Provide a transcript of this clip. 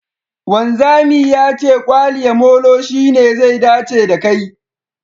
Wanzami ya ce kwaliya molo shine zai dace da kai